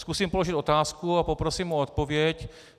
Zkusím položit otázku a poprosím o odpověď.